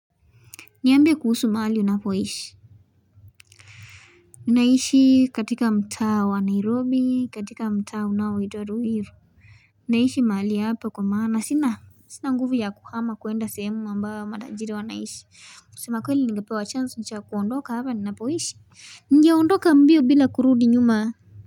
Niambie kuhusu mahali unapoishi Naishi katika mtaa wa Nairobi, katika mtaa unaoitwa ruiru. Naishi mahali hapa kwa maana sina sina nguvu ya kuhama kuenda sehemu ambayo matajiri wanaishi, kusema kweli ningapewa chanzo cha kuondoka hapa ninapoishi ningeondoka mbio bila kurudi nyuma.